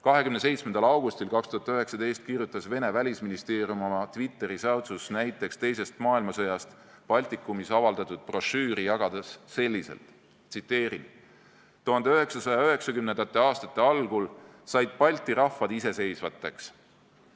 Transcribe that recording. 27. augustil 2019 kirjutas Vene välisministeerium oma Twitteri säutsus näiteks teisest maailmasõjast Baltikumis avaldatud brošüüri jagades selliselt: "1990. aastate algul said Balti rahvad iseseisvateks.